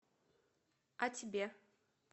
а тебе